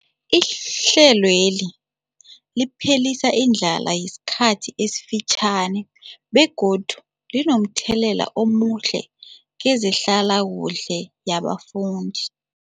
Ihlelweli liphelisa indlala yesikhathi esifitjhani begodu linomthelela omuhle kezehlalakuhle yabafundi.